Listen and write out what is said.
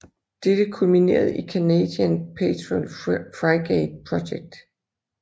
Dette kulminerede i Canadian Patrol Frigate Project